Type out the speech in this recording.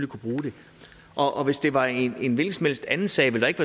kunne bruge det og og hvis det var en hvilken som helst anden sag ville der ikke